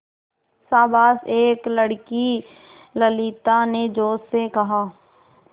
शाबाश एक लड़की ललिता ने जोश से कहा